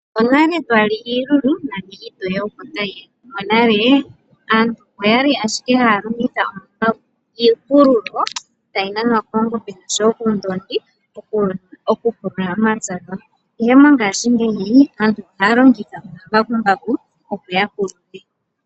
Onale nani twali iilulu nani iitoye opo tayi ya ,monale aantu oya li ashike haya longitha iipululo tayi nanwa koongombe oshowo koondongi okupulula omapya gawo ihe mongashingeyi aantu ohaya longitha omambakumbaku opo ya pulule.